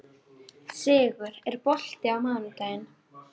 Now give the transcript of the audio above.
Sigur, er bolti á mánudaginn?